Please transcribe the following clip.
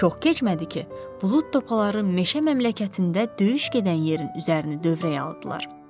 Çox keçmədi ki, bulud topaları meşə məmləkətində döyüş gedən yerin üzərini dövrəyə aldılar.